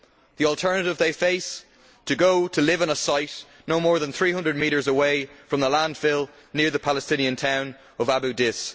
The alternative they face is to go to live in a site no more than 300 metres away from a landfill near the Palestinian town of Abu Dis.